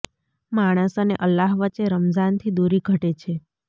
માણસ અને અલ્લાહ વચ્ચે રમઝાન થી દૂરી ઘટે છે